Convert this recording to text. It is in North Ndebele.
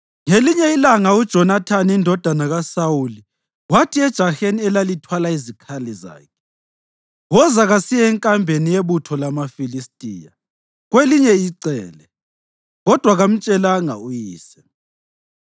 Ngelinye ilanga uJonathani indodana kaSawuli wathi ejaheni elalithwala izikhali zakhe, “Woza, kasiye enkambeni yebutho lamaFilistiya ngakwelinye icele.” Kodwa kamtshelanga uyise.